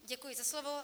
Děkuji za slovo.